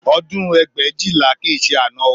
Ọdún ẹgbẹ̀éjìlá kì í ṣe àná o